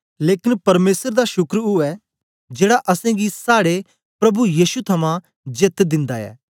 लेकन परमेसर दा शुक्र उवै जेड़ा असेंगी साड़े प्रभु यीशु थमां जीत दिन्दा ऐ